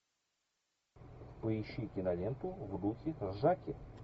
поищи киноленту в духе ржаки